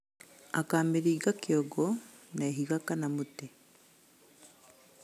Akamĩringa kĩongo na ihiga kana mũtĩ